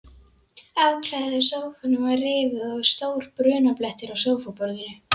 Áklæðið á sófanum var rifið og stór brunablettur á sófaborðinu.